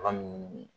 Bagan min